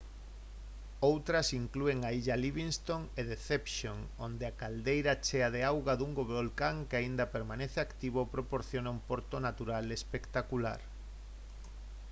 outras inclúen a illa livingston e deception onde a caldeira chea de auga dun volcán que aínda permanece activo proporciona un porto natural espectacular